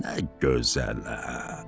Nə gözələm!